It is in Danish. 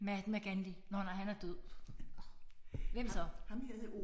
Mahatma Gandhi. Nåh nej han er død. Hvem så?